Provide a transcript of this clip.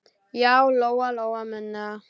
Já, Lóa-Lóa mundi það.